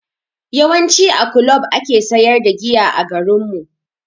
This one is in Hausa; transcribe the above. Yawanci a kulob ake sayar da giya a garinmu.